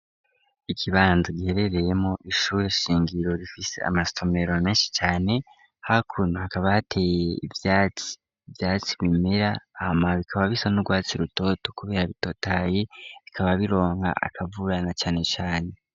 Ikibanza giherereyemo ishure shingiro rifise amasomeromenshi cane ha kuntu hakabahateye ivyati vyatsi bimera hama bikaba bisa n'urwatsi rutoto kube habitotayi bikaba bironka akavurana canecane.